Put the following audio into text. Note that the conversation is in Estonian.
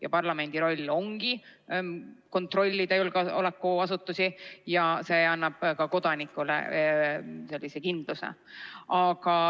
Ja parlamendi roll ongi kontrollida julgeolekuasutusi ning see annab kodanikele vajaliku kindluse.